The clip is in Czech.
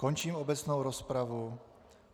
Končím obecnou rozpravu.